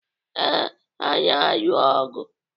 Ee, ha na-alụ ọgụ.